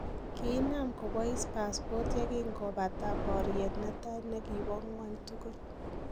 Kiinam kobais pasipot ye kingopata bariet netai ne kibo ngwony tukul